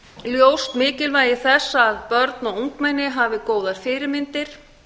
ljóst mikilvægi þess að börn og ungmenni hafi góðar fyrirmyndir